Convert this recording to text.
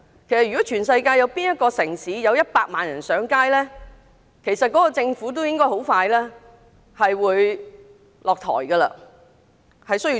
其實全世界無論哪個城市，如果有100萬人上街，當地政府都要立即下台，重組政府。